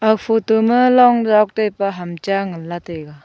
aga photo ma long zak taipa hamcha nganlay taiga.